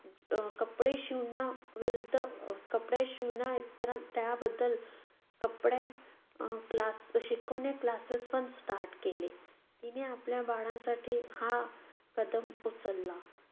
अह कपडे शिवणं विरुद्ध अह कपडे शिवणं इतरां~ त्याबद्दल कपडे अह क्ला~ शिकवणे classes पण start केले. तिने आपल्या बाळांसाठी हा उचलला.